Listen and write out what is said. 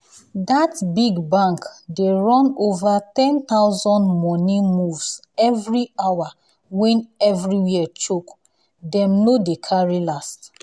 that big bank dey run over 10000 money moves every hour when everywhere choke — dem no dey carry last.